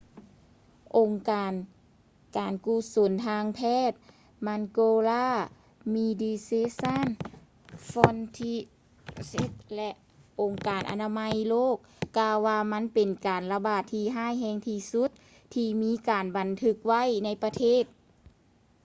ອົງການການກຸສົນທາງການແພດ mangola medecines sans frontieres ແລະ ອົງການອະນາໄມໂລກກ່າວວ່າມັນເປັນການລະບາດທີ່ຮ້າຍແຮງທີ່ສຸດທີ່ມີການບັນທຶກໄວ້ໃນປະເທດ